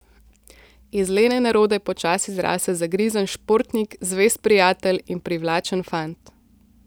Iz lene nerode počasi zrase zagrizen športnik, zvest prijatelj in privlačen fant.